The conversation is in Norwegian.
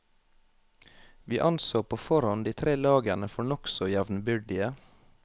Vi anså på forhånd de tre lagene for nokså jevnbyrdige.